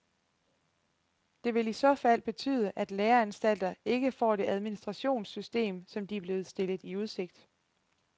Det vil i så fald betyde, at læreanstalterne ikke får det administrationssystem, som de er blevet stillet i udsigt.